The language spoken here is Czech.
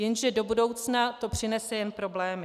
Jenže do budoucna to přinese jen problémy.